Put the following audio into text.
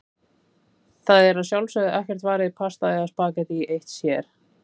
Það er að sjálfsögðu ekkert varið í pasta eða spaghetti eitt sér.